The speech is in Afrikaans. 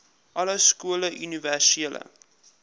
alle skole universele